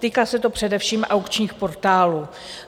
Týká se to především aukčních portálů.